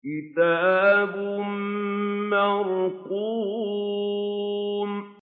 كِتَابٌ مَّرْقُومٌ